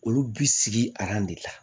Olu bi sigi de la